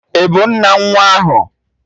Ị bụ nna nwa ahụ?